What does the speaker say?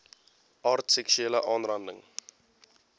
aard seksuele aanranding